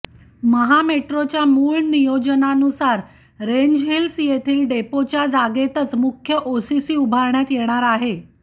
महामेट्रोच्या मूळ नियोजनानुसार रेंजहिल्स येथील डेपोच्या जागेतच मुख्य ओसीसी उभारण्यात येणार आहे